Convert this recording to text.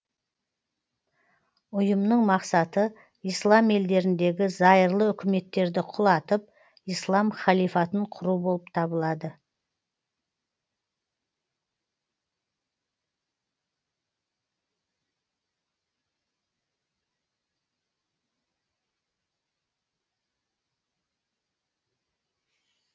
ұйымның мақсаты ислам елдеріндегі зайырлы үкіметтерді құлатып ислам халифатын құру болып табылады